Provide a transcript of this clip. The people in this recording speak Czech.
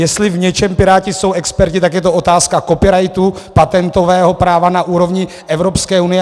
Jestli v něčem Piráti jsou experti, tak je to otázka copyrightu, patentového práva na úrovni Evropské unie.